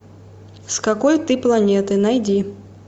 с какой ты планеты найди